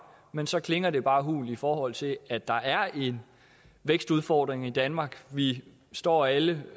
men så klinger det bare hult i forhold til at der er en vækstudfordring i danmark vi står alle